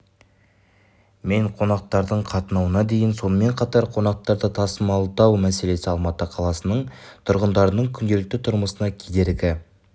мен қонақтардың қатынауына дейін сонымен қатар қонақтарды тасымалдау мәселесі алматы қаласының тұрғындарының күнделікті тұрмысына кедергі